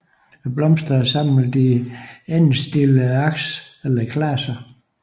Blomsterne er samlet i endestillede aks eller klaser